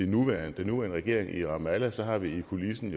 nuværende regering i ramallah så har vi i kulissen